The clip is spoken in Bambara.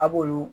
A b'olu